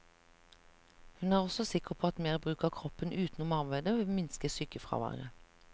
Hun er også sikker på at mer bruk av kroppen utenom arbeidet vil minske sykefraværet.